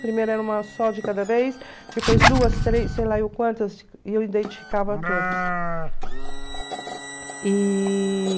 Primeiro era uma só de cada vez, depois duas, três, sei lá eu quantas, e eu identificava todas. E...